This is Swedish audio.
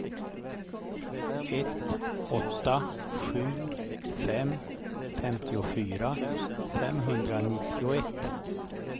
ett åtta sju fem femtiofyra femhundranittioett